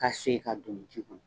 Ka sen ka don ji kɔnɔ.